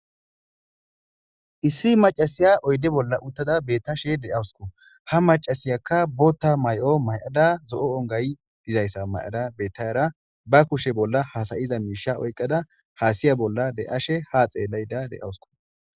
issi macasiya oyde bolla uttada bettashe deawusku ha macasiyakka bootta may7o may7ada zo7o ongay dizayssa may7ada bettayara ba kushe bolla hasayiza miisha oyqqada haasiya bolla de7ashe haa xeelayda deawusku